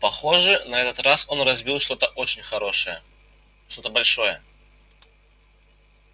похоже на этот раз он разбил что-то очень хорошее что-то большое